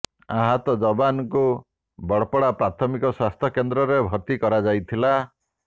ଆହତ ଯବାନଙ୍କୁ ବଡପଡା ପ୍ରାଥମିକ ସ୍ୱାସ୍ଥ୍ୟ କେନ୍ଦ୍ରରେ ଭର୍ତ୍ତି କରାଯାଇଥିଲା